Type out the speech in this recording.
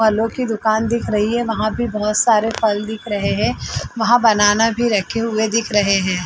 फलो की दूकान दिख रही है वहाँ भी भोत सारे फल दिख रहे है वहाँ बनाना भी रखे हुए दिख रहे है।